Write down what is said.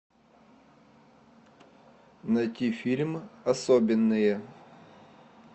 найти фильм особенные